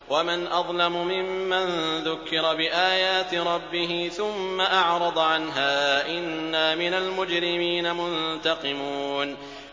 وَمَنْ أَظْلَمُ مِمَّن ذُكِّرَ بِآيَاتِ رَبِّهِ ثُمَّ أَعْرَضَ عَنْهَا ۚ إِنَّا مِنَ الْمُجْرِمِينَ مُنتَقِمُونَ